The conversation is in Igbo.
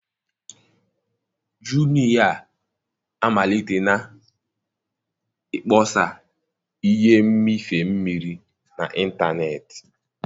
Jumiya amalitela ịkpọsa ihe mmịfe mmiri n'ịntanetị.